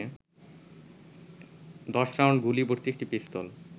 ১০ round গুলিভর্তি একটি পিস্তল